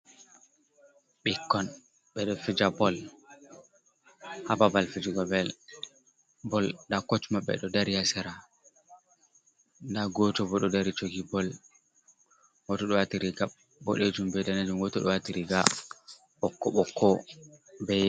Ɓikkon ɓeɗo fija bol ha babal fijugo bol, nda koch maɓɓe ɗo dari ha sera, nda goto bo ɗo dari jogi bol, goto ɗo wati riga boɗejum be ɗanejum, goto ɗo wati riga ɓokko ɓokko be.